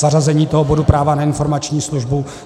Zařazení toho bodu, práva na informační službu.